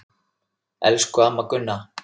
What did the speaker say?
Elsku amma Gunna.